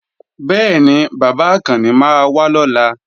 Bẹ́ẹ̀ni, bàbá Àkànni máa wá lọ́la